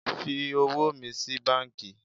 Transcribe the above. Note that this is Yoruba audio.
Fi owó mi sí banki